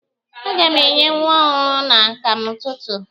A ga m enye nwa ọhụrụ m akamụ n'ụtụtụ.